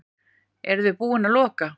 Eruði búin að loka?